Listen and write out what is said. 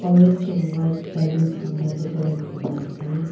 orange and white balloons kan ba decorate kuri na ase.